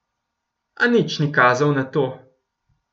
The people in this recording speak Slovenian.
A nič ni kazalo na to.